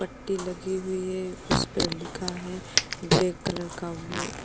पट्टी लगी हुई है उस पर लिखा है ब्लैक कलर का वो --